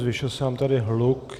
Zvýšil se nám tady hluk.